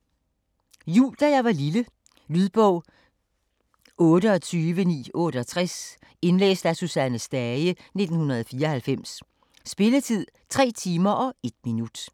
Jul da jeg var lille Lydbog 28968 Indlæst af Susanne Stage, 1994. Spilletid: 3 timer, 1 minut.